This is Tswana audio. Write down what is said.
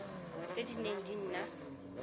tse di neng di na